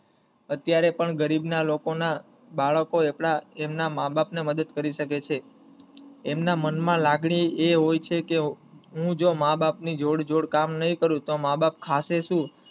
અત્યારે પણ ગરીબ ના લોકો ના બાળકો એમના માં બાપા ને ને મદદ કરી શકે છે એમના મન માં લાગણી એ હોય છે કે હું જો માં બાપ નીજોડે જોડે કામ નહિ કરું તો માં બાપ ખાસે શું